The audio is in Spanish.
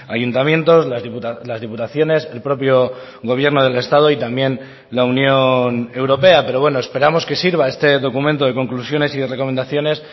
ayuntamientos las diputaciones el propio gobierno del estado y también la unión europea pero bueno esperamos que sirva este documento de conclusiones y recomendaciones